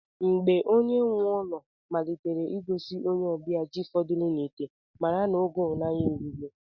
Mgbe onye nwe ụlọ malitere ịgosi onye ọbịa ji fọdụrụ n'ite, mara n'oge una erugo.